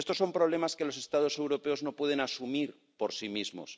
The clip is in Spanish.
Estos son problemas que los Estados europeos no pueden asumir por sí mismos.